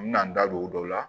N bɛna n da don o don la